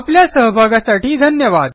आपल्या सहभागासाठी धन्यवाद